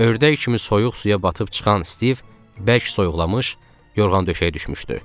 Ördək kimi soyuq suya batıb çıxan Stiv bərk soyuqlamış, yorğan döşəyə düşmüşdü.